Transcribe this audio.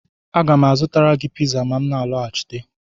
Aga m azụtara gị piza ma m na-alọghachite